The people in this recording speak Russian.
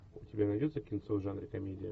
у тебя найдется кинцо в жанре комедия